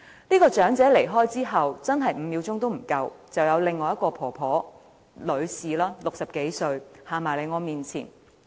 這名長者離開後不足5秒，便有另一名60多歲的女士走到我面前。